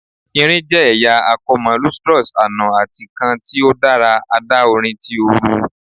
Irin jẹ ẹya akomo, lustrous ano ati kan ti o dara adaorin ti ooru